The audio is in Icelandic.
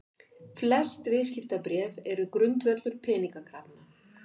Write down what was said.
Flest viðskiptabréf eru grundvöllur peningakrafna.